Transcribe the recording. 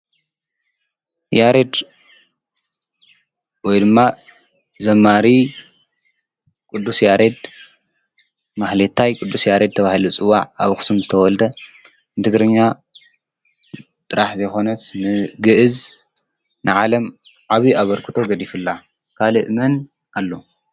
"ያሬድ ወይ ድማ ዘማሪ ቅዱስ ያሬድ ማህሌታይ ቅዱሰ ያሬድ" ተባሂሉ ዝፅዋዕ ኣብ አክሱም ዝተወልደ ንትግርኛ ጥራሕ ዘይኾነስ ንግዕዝ ንዓለም ዓብዪ ኣበርክቶ ገዲፉላ ካሊእ መን ኣሎ ?